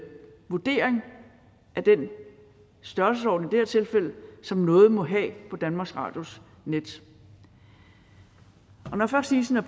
vurdering af den størrelsesorden som noget må have på danmarks radios netside og når først isen er